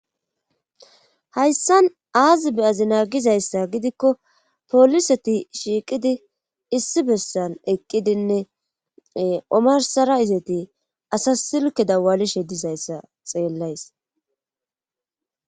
Hayssan aazibe azi naagizayssa gidikko poliseti shiiqidi issi bessan eqqidinne omarsara izeti asa silke dawalishe dizayssa xeellays.